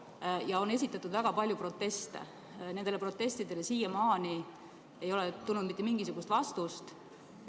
Selle kohta on esitatud ka väga palju proteste, aga nendele protestidele ei ole siiamaani tulnud mitte mingisugust vastust.